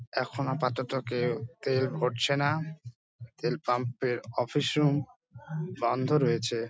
এখন আপাতত কেউ তেল ভরছে না তেল পাম্প এর অফিস রুম বন্ধ রয়েছে ।